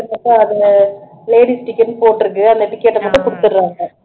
ladies ticket ன்னு போட்டுருக்கு அந்த ticket அ நமக்கு கொடுத்துடுறாங்க